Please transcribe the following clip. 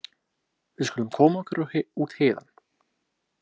Við skulum koma okkur út héðan.